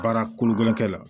Baara kolokolenkɛ la